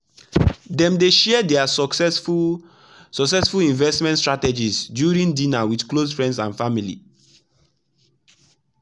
dem dey share their successful successful investment strategies during dinner with close friends and family.